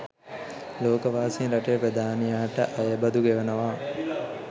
ලෝකවාසීන් රටේ ප්‍රධානියාට අයබදු ගෙවනවා